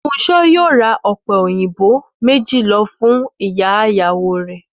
Fúnṣo yóò ra ọ̀pẹ òyìnbó méjì lọ fún ìyá ìyàwó rẹ̀